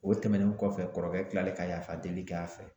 O tɛmɛnen kɔfɛ kɔrɔkɛ kalen ka yafa deli k'a fɛ.